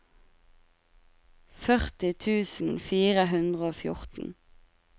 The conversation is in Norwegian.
førti tusen fire hundre og fjorten